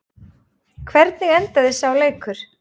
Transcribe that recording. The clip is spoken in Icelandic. Hvernig endaði sá leikur?